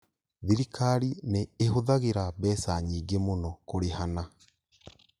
Thirikari nĩ ĩhũthagĩra mbeca nyingĩ mũno kũrĩhana